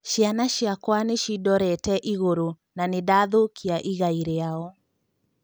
Ciana ciakwa nĩ cindorete igũrũ na nĩ ndathũkia igai rĩao."